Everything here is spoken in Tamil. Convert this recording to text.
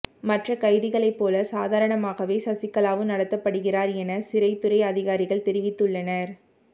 மற்ற கைதிகளை போல சாதரணமாகவே சசிகலாவும் நடத்தப்படுகிறார் என சிறைத்துறை அதிகாரிகள் தெரிவித்துள்ளனர்